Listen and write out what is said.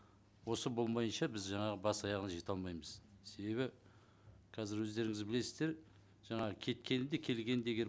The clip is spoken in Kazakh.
осы болмағанша біз жаңағы бас аяғына жете алмаймыз себебі қазір өздеріңіз білесіздер жаңағы келді келгенде егер